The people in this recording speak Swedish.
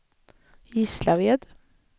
Gislaved